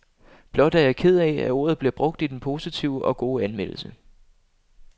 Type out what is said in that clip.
Blot er jeg ked af, at ordet bliver brugt i den positive og gode anmeldelse.